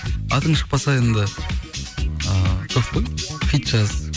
атың шықпаса енді ыыы көп қой хит жаз